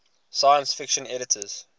science fiction editors